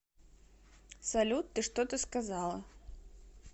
салют ты что то сказала